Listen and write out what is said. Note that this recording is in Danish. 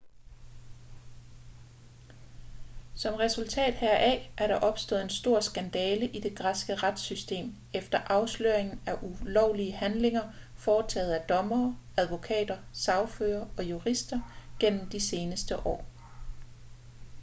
som resultat heraf er der opstået en stor skandale i det græske retssystem efter afsløringen af ulovlige handlinger foretaget af dommere advokater sagførere og jurister gennem de seneste år